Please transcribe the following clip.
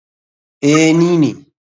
Ee, ni ne.